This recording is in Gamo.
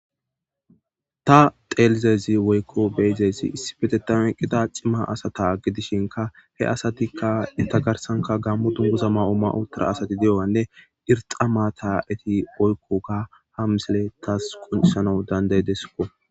Ta xeellizaysinne be7izaysi gammo issipe eqqida cima asata gidishin ,he asati enta garsan gaammo duguza mayo mayida asatinne ta xeellizaysi woyko beyizaysi issipetethan eqqidane gaammo dunguza maa7otanne erxxa maata oyikkidaysa ha misiley tas qoncis bessesiko.